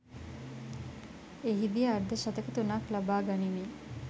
එහිදී අර්ධ ශතක තුනක් ලබා ගනිමින්